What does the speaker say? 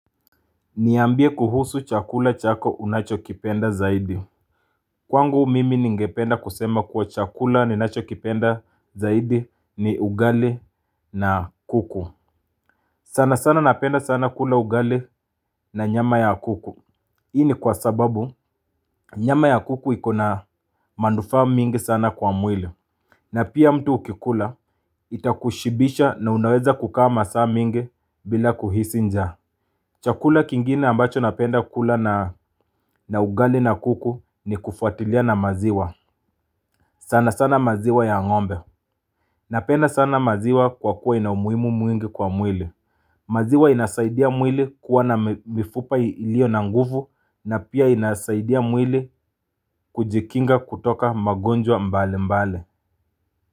Niambie kuhusu chakula chako unachokipenda zaidi Kwangu mimi ningependa kusema kuwa chakula ninachokipenda zaidi ni ugali na kuku sana sana napenda sana kula ugali na nyama ya kuku hii ni kwa sababu nyama ya kuku iko na manufaa mingi sana kwa mwile na pia mtu ukikula itakushibisha na unaweza kukaa masaa mingi bila kuhisi njaa Chakula kingine ambacho napenda kula na ugali na kuku ni kufuatilia na maziwa sana sana maziwa ya ngombe Napenda sana maziwa kwa kuwa ina umuhimu mwingi kwa mwili maziwa inasaidia mwili kuwa na mifupa iliyo na nguvu na pia inasaidia mwili kujikinga kutoka magonjwa mbali mbali.